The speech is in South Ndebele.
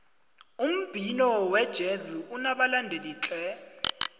umbhino wejezi unabalandeli tle